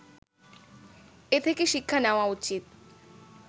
এ থেকে শিক্ষা নেওয়া উচিৎ